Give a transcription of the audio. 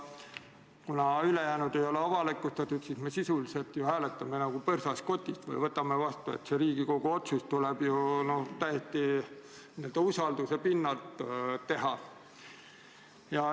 Kuna ülejäänud ei ole avalikustatud, siis me sisuliselt hääletame ju nagu põrsast kotis, see otsus tuleb Riigikogul teha täiesti n-ö usalduse pinnalt.